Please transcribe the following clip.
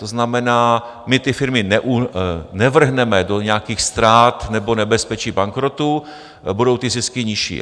To znamená my ty firmy nevrhneme do nějakých ztrát nebo nebezpečí bankrotu, budou ty zisky nižší.